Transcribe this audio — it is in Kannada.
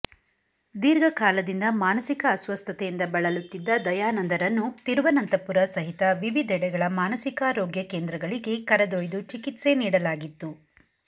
ದೀರ್ಘಕಾಲದಿಂದ ಮಾನಸಿಕ ಅಸ್ವಸ್ಥತೆಯಿಂದ ಬಳಲುತ್ತಿದ್ದ ದಯಾನಂದರನ್ನು ತಿರುವನಂತಪುರ ಸಹಿತ ವಿವಿಧೆಡೆಗಳ ಮಾನಸಿಕಾರೋಗ್ಯ ಕೇಂದ್ರಗಳಿಗೆ ಕರೆದೊಯ್ದು ಚಿಕಿತ್ಸೆ ನೀಡಲಾಗಿತ್ತು